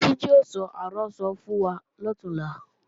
Títí ó sọ àrọ́sọ fún wa lọ̀túnla